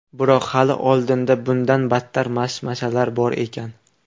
Biroq hali oldinda bundan battar mashmashalar bor ekan.